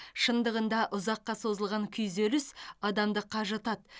шындығында ұзаққа созылған күйзеліс адамды қажытады